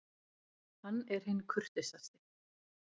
Hann er hinn kurteisasti.